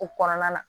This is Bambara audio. O kɔnɔna la